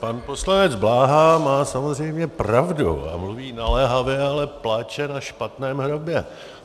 Pan poslanec Bláha má samozřejmě pravdu a mluví naléhavě, ale pláče na špatném hrobě.